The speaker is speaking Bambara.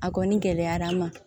A kɔni gɛlɛyara an ma